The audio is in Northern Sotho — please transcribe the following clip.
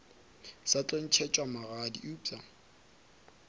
sa tlo ntšhetšwa magadi eupša